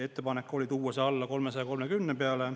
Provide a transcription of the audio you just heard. Ettepanek oli tuua see alla 330 peale.